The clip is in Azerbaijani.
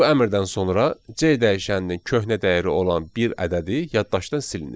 Bu əmrdən sonra C dəyişəninin köhnə dəyəri olan bir ədədi yaddaşdan silinir.